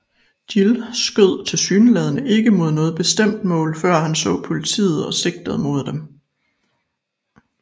Gill skød tilsyneladende ikke mod noget bestemt mål før han så politiet og sigtede mod dem